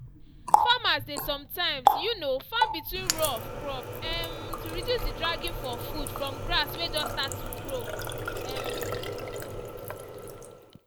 farmers dey some times um farm between row of crop um to reduce the dragging for food from grass way just start to grow. um